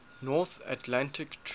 north atlantic treaty